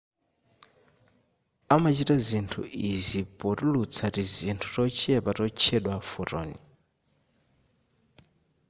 amachita izi potulutsa tizinthu tochepa totchedwa photon